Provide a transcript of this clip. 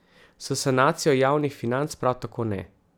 S sanacijo javnih financ prav tako ne.